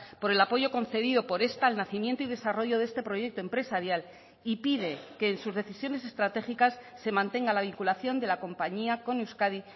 por el apoyo concedido por esta al nacimiento y desarrollo de este proyecto empresarial y pide que en sus decisiones estratégicas se mantenga la vinculación de la compañía con euskadi